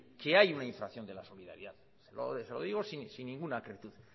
que hay una infracción de la solidaridad se lo digo sin ninguna acritud